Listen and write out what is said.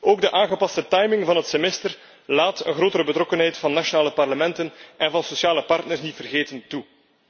Ook de aangepaste timing van het semester laat een grotere betrokkenheid van nationale parlementen en van sociale partners niet te vergeten, toe.